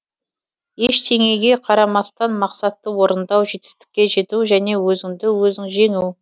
ештеңеге қарамастан мақсатты орындау жетістікке жету және өзіңді өзің жеңу